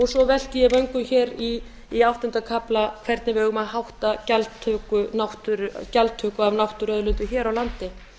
svo velti ég vöngum í áttunda kafla hvernig við eigum að hátta gjaldtöku af náttúruauðlindum hér á landi